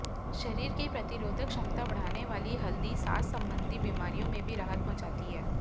शरीर की प्रतिरोधक क्षमता बढ़ाने वाली हल्दी सांस संबंधी बीमारियों में भी राहत पहुंचाती है